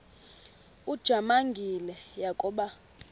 ujamangi le yakoba